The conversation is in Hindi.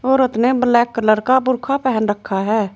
औरत ने ब्लैक कलर का बूरखा पहन रखा है।